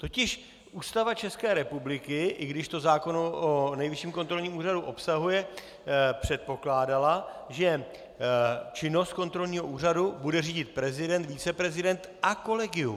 Totiž Ústava České republiky, i když to zákon o Nejvyšším kontrolním úřadu obsahuje, předpokládala, že činnost kontrolního úřadu bude řídit prezident, viceprezident a kolegium.